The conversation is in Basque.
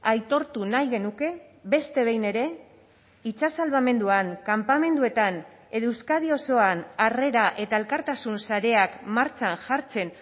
aitortu nahi genuke beste behin ere itsas salbamenduan kanpamenduetan edo euskadi osoan harrera eta elkartasun sareak martxan jartzen